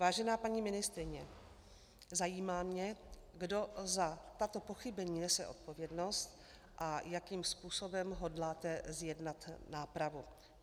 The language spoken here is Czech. Vážená paní ministryně, zajímá mě, kdo za tato pochybení nese odpovědnost a jakým způsobem hodláte zjednat nápravu.